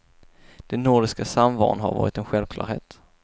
Den nordiska samvaron har varit en självklarhet.